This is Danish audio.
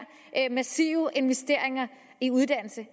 massive investeringer i uddannelse